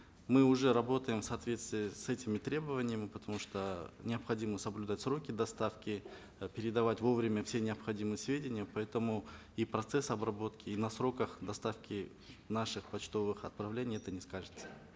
мы уже работаем в соответствии с этими требованиями потому что необходимо соблюдать сроки доставки э передавать вовремя все необходимые сведения поэтому и процесс обработки и на сроках доставки наших почтовых отправлений это не скажется